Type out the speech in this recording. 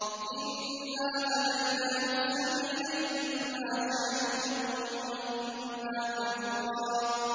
إِنَّا هَدَيْنَاهُ السَّبِيلَ إِمَّا شَاكِرًا وَإِمَّا كَفُورًا